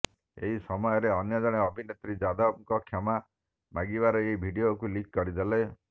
ଏହି ସମୟରେ ଅନ୍ୟ ଜଣେ ଅଭିନେତ୍ରୀ ଯାଦବଙ୍କ କ୍ଷମା ମାଗିବାର ଏହି ଭିଡିଓକୁ ଲିକ୍ କରି ଦେଇଥିଲେ